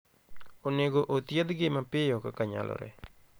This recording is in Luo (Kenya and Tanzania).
Onego othiedhgi mapiyo kaka nyalore.